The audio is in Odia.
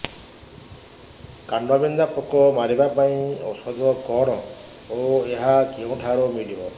କାଣ୍ଡବିନ୍ଧା ପୋକ ମାରିବା ପାଇଁ ଔଷଧ କଣ ଓ ଏହା କେଉଁଠାରୁ ମିଳିବ